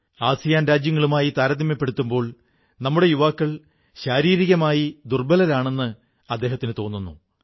ASEAN രാജ്യങ്ങളുമായി താരമ്യപ്പെടുത്തുമ്പോൾ നമ്മുടെ യുവാക്കൾ ശാരീരികമായി ദുർബ്ബലരാണെന്ന് അദ്ദേഹത്തിനു തോന്നുന്നു